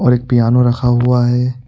और एक पियानो रखा हुआ है।